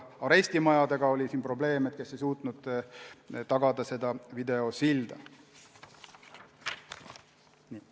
Arestimajadega oli probleeme, nad ei suutnud videosildu tagada.